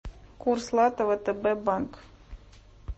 курс лата втб банк